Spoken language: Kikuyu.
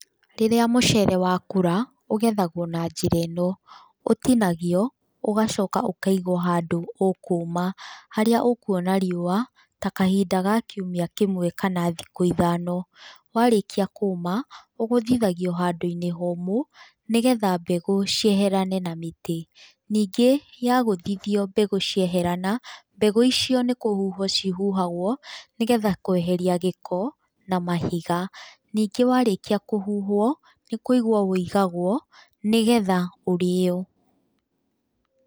Rĩrĩa mũcere wakũra, ũgethagũo na njĩra ĩno, ũtinagio, ũgacoka ũkaigwo handũ ũkũũma, harĩa ũkuona riũa ta kahinda ga kiumia kĩmwe kana thikũ ithano, warĩkia kũũma, ũgũthithagio handũ-inĩ homũ, nĩgetha mbegũ cieherane na mĩtĩ, ningĩ yagũthithio mbegũ cieherana, mbegũ icio nĩ kũhuhwo cihuhagwo, nĩgetha kweheria gĩko na mahiga, ningĩ warĩkia kũhuhwo nĩ kũigwo wũigagwo nĩgetha ũrĩo.